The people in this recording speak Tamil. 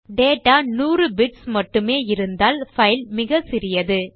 டேட்டா நூறு பிட்ஸ் மட்டுமே இருந்தால் பைல் மிகவும் சிறியது